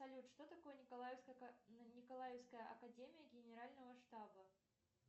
салют что такое николаевская академия генерального штаба